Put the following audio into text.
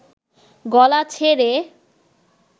গলা ছেড়ে